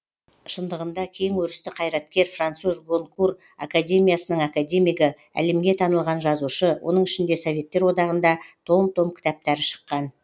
шындығында кең өрісті қайраткер француз гонкур академиясының академигі әлемге танылған жазушы оның ішінде советтер одағында том том кітаптары шыққан